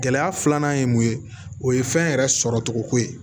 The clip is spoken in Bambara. Gɛlɛya filanan ye mun ye o ye fɛn yɛrɛ sɔrɔcogoko ye